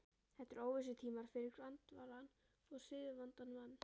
Þetta eru óvissutímar fyrir grandvaran og siðavandan mann.